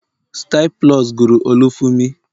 Style plus guru Olufumi